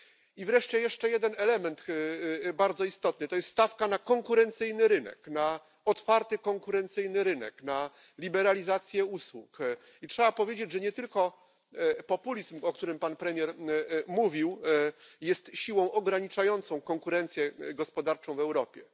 I wreszcie jeszcze jeden bardzo istotny element to stawka na konkurencyjny rynek, na otwarty konkurencyjny rynek, na liberalizację usług. I trzeba powiedzieć, że nie tylko populizm, o którym pan premier mówił, jest siłą ograniczającą konkurencję gospodarczą w Europie.